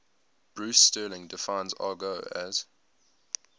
bruce sterling defines argot as